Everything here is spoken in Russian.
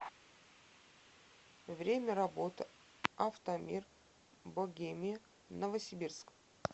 время работы автомир богемия новосибирск